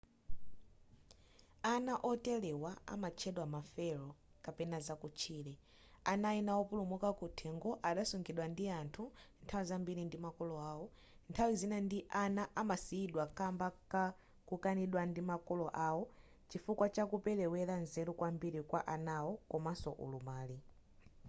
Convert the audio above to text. ana oterewa amatchedwa ma feral” kapena zakutchire. ana ena wopulumuka kuthengo adasungidwa ndi anthu nthawi zambiri ndi makolo awo ; nthawi zina ana amasiyidwa kamba kakukanidwa ndi makolo awo chifukwa chakuperewera nzeru kwambiri kwa anawo komaso ulumali